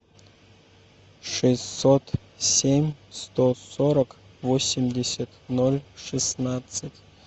шестьсот семь сто сорок восемьдесят ноль шестнадцать